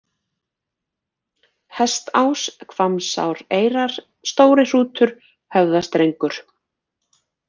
Hestás, Hvammsáreyrar, Stórihrútur, Höfðastrengur